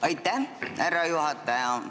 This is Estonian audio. Aitäh, härra juhataja!